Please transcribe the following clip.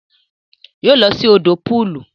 Yoo lọ sí òdò pọọlù